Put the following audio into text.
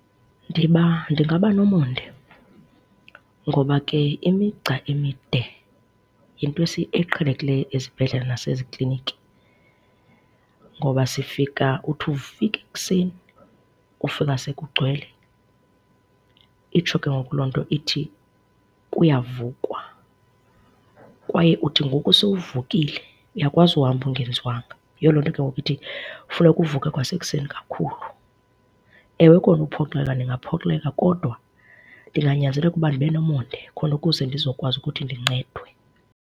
Ndiba ndingaba nomonde ngoba ke imigca emide yinto eqhelekileyo ezibhedlela nasezikliniki. Ngoba sifika uthi ufika ekuseni ufika sekugcwele. Itsho ke ngoku loo nto ithi kuyavukwa. Kwaye uthi ngoku sowuvukile uyakwazi uhamba ungenziwanga. Yiyo loo nto ke ngoku ithi funeka uvuke kwasekuseni kakhulu. Ewe, kona uphoxeka ndingaphoxeka kodwa ndinganyanzeleka uba ndibe nomonde khona ukuze ndizokwazi ukuthi ndincedwe.